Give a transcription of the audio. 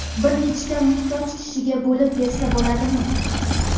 bir nechta muhtoj kishiga bo‘lib bersa bo‘ladimi?.